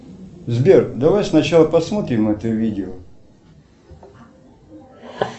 сбер давай сначала посмотрим это видео